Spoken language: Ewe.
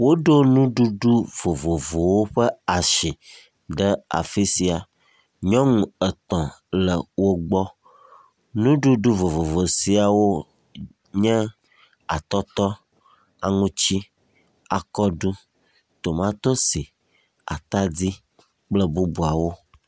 Woɖo nuɖuɖu vovovowo ƒe asi ɖe afi sai. Nyɔnu etɔ̃ le wo gbɔ. Nuɖuɖu vovovo siawo nye atɔtɔ, aŋutsi, akɔɖu, tomatosi, atadi kple bubuawo.